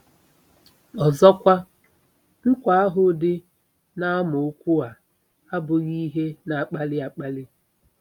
Ọzọkwa, nkwa ahụ dị n'amaokwu a abụghị ihe na-akpali akpali?